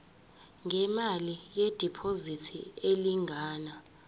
ngemali yediphozithi elingana